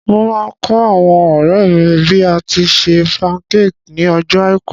Mo máa kọ́ àwọn ọ̀rẹ́ mi bí a tíi se pancake ní ọjọ́ àìkú.